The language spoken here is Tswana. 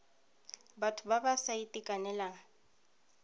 batho ba ba sa itekanelang